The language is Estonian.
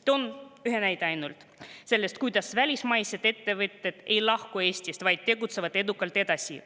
Toon ühe näite selle kohta, kuidas välismaised ettevõtted ei lahku Eestist, vaid tegutsevad edukalt edasi.